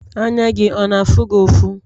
anya gị ọ na afugị ọfu?